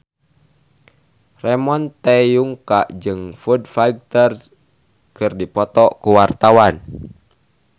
Ramon T. Yungka jeung Foo Fighter keur dipoto ku wartawan